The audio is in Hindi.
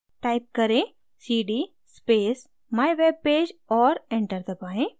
type करें: cd space mywebpage और enter दबाएँ